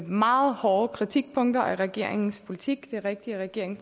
meget hårde kritikpunkter af regeringens politik det er rigtigt at regeringen